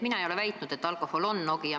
Mina ei ole väitnud, et alkohol on Eesti Nokia.